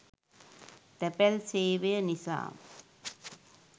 තැපැල් සේවය නිසා